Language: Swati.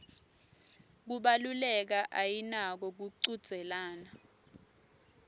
kubaluleka ayinako kuchudzelana